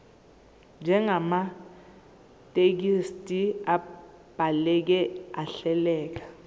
njengamathekisthi abhaleke ahleleka